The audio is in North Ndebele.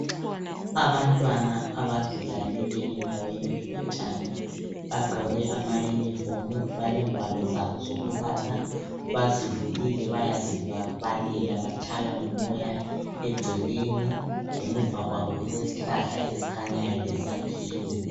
Abantwana abazilalele endaweni elotshani bagqoke amayunifomu balengwalo zabo zokubala. Bazivulile bayazibalelabatshaywa ngumoya egcekeni emuva kwabo kukhanya kulezihlahla lesakhiwo.